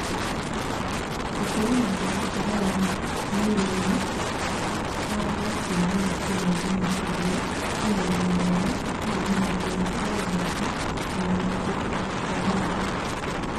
Gũkorwo na mũtaratara wa mĩri iria itambaga kuma gĩtina -inĩ makĩria, ĩna ũgima mwega itarĩ na mathĩna o wothe na kũbutha Kwa mĩrita